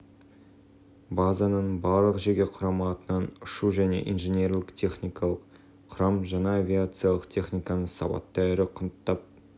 базаның барлық жеке құрамы атынан ұшу және инженерлік-техникалық құрам жаңа авиациялық техниканы сауатты әрі құнттап